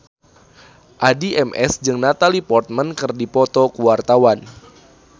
Addie MS jeung Natalie Portman keur dipoto ku wartawan